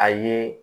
A ye